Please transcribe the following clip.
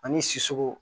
Ani siso